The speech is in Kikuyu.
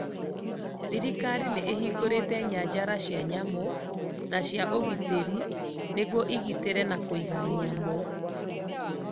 Thirikari nĩ ĩhingũrĩte nyanjala cia nyamũ na cia ũgitarĩ nĩguo ĩgitĩre na Kũiga nyamũ